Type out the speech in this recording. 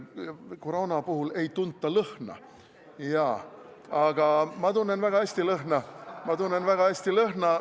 Koroona puhul ei tunta lõhna, jaa, aga ma tunnen väga hästi lõhna, ma tunnen väga hästi lõhna.